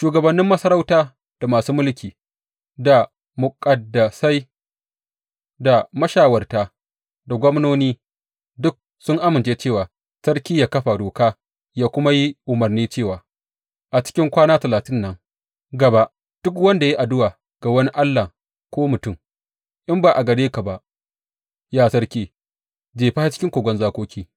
Shugabannin masarauta, da masu mulki, da muƙaddasai, da mashawarta da gwamnoni duk sun amince cewa sarki yă kafa doka yă kuma yi umarni cewa a cikin kwana talatin nan gaba duk wanda ya yi addu’a ga wani allah ko mutum, in ba a gare ka ba, ya sarki, jefa shi cikin kogon zakoki.